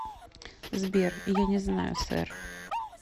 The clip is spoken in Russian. сбер я не знаю сэр